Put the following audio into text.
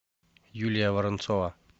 юлия воронцова